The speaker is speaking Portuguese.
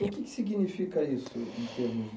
E o que que significa isso?